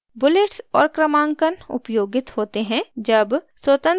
bullets और क्रमांकन उपयोगित होते हैं जब स्वतंत्र प्वॉइंट लिखा जाता है